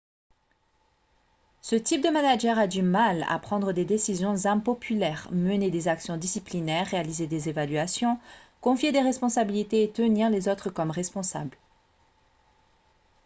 ce type de manager a du mal à prendre des décisions impopulaires mener des actions disciplinaires réaliser des évaluations confier des responsabilités et tenir les autres comme responsable